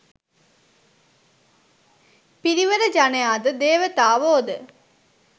පිරිවර ජනයා ද දේවතාවෝ ද